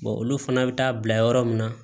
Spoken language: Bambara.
olu fana bɛ taa bila yɔrɔ min na